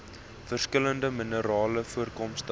verskillende minerale voorkomste